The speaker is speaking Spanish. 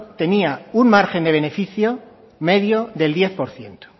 tenía un margen de beneficio medio del diez por ciento